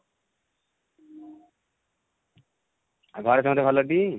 ଆଉ ଘରେ ସମସ୍ତେ ଭଲ ଟି?